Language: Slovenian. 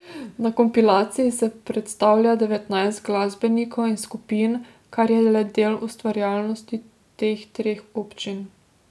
Na kompilaciji se predstavlja devetnajst glasbenikov in skupin, kar je le del ustvarjalnosti teh treh občin.